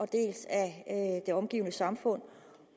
dels af det omgivende samfund